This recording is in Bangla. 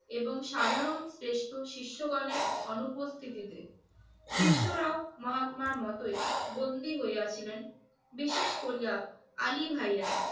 এবং সাধারণ শ্রেষ্ঠ শিষ্যগণের অনুপস্থিতিতে শিষ্যরাও মহাত্মার মতো বন্দি হইয়াছিলেন। বিশেষ করিয়া আলিভাইরা